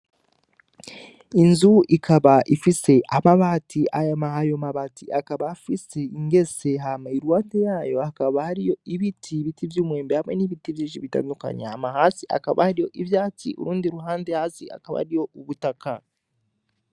Inzu ikaba ifise amabati , ayo mabati akaba afis’ingese hama iruhafi yayo hakaba hariyo ibiti , ibi vy’umwembe hamwe n’ibiti vyinshi bitandukanye. Hama hasi hakaba hari ivyatsi, urundi ruhande hasi hakaba hariho ubutaka.